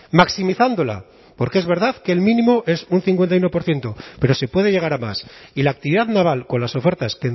maximizándola porque es verdad que el mínimo es un cincuenta y uno por ciento pero se puede llegar a más y la actividad naval con las ofertas